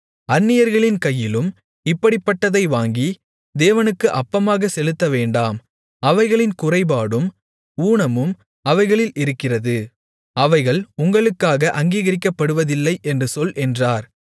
அந்நியர்களின் கையிலும் இப்படிப்பட்டதை வாங்கி தேவனுக்கு அப்பமாகச் செலுத்தவேண்டாம் அவைகளின் குறைபாடும் ஊனமும் அவைகளில் இருக்கிறது அவைகள் உங்களுக்காக அங்கீகரிக்கப்படுவதில்லை என்று சொல் என்றார்